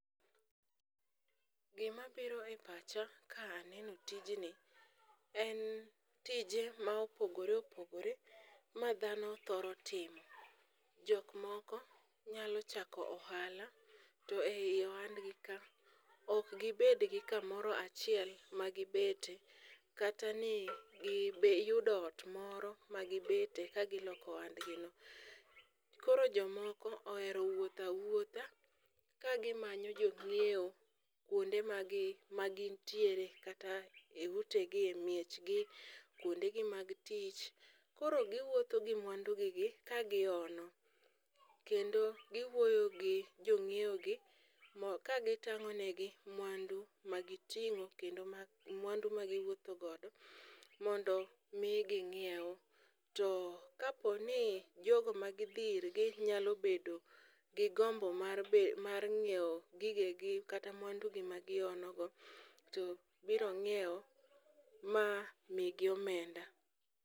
Gimabiro e pacha kaneno tijni en tije ma opogore opogore ma dhano thoro timo, jok moko nyalo chako ohala, to ei ohandgi ka, ok gibed gi kamoro achiel magibete, kata ni giyudo ot moro magibete kagiloko ohandgino. Koro jomoko ohero wuotho awuotha ka gimanyo jong'iewo kwonde magin tiere kata e utegi e miechgi, kwondegi mag tich. Koro giwuotho gi mwandugigi ka gihono kendo giwuoyo gi jong'iewogi ka gitang'onegi mwandu magiting'o kendo mwandu ma giwuotho godo. Mondo omi ging'iew. To kapo ni jogo magidhi irgi nyalo bedo gi gombo mar ng'iewo gigegi kata mwandugi magihonogo, to biro ng'iewo ma migi omenda.